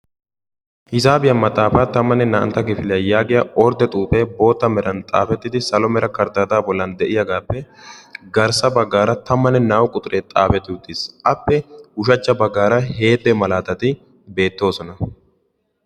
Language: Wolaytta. Hisaabiya maxaafa 11ntta kifiliya giya ordde xuufee bootta meran xaafettidi salo mera karddaadaa bollan de'iyagaappe garssa baggaara 12u quxuree xaafetti uttiis. Appe ushachcha baggaara heette malaatati beettoosona.